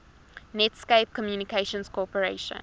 netscape communications corporation